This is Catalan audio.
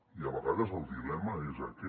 i a vegades el dilema és aquest